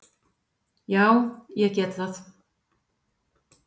Já, ég get það.